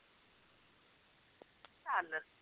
ਚੱਲ